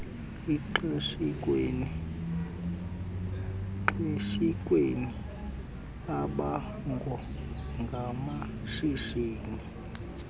xeshikweni iimbango ngamashishini